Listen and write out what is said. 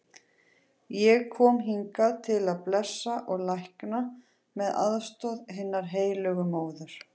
Ég kom hingað til að blessa og lækna með aðstoð hinnar heilögu móður.